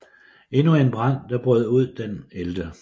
Endnu en brand der brød ud den 11